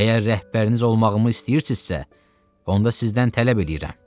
Əgər rəhbəriniz olmağımı istəyirsinizsə, onda sizdən tələb eləyirəm.